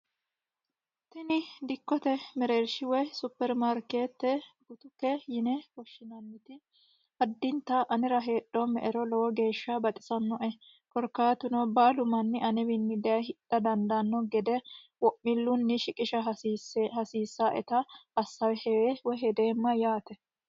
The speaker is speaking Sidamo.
Tini dikkote mereershi woyi superimaarkete yine woshshineemmoti addintanni anera heedhome'ero lowonta tashshi yaanoe korkaatuno baalu manni anewini daaye hidha dandaano gede wo'milunni shiqqisha hasiisanoetta asawe heere shetomma.